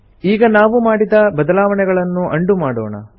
ಈಗ ನಾವು ಮಾಡಿದ ಬದಲಾವಣೆಗಳನ್ನು ಉಂಡೋ ಮಾಡೋಣ